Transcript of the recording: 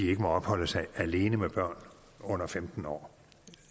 ikke må opholde sig alene med børn under femten år